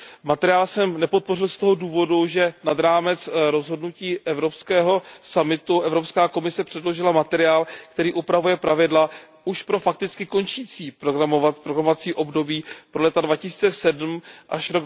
Materiál jsem nepodpořil z toho důvodu, že nad rámec rozhodnutí evropského summitu Evropská komise předložila materiál, který upravuje pravidla už pro fakticky končící programové období pro roky 2007 až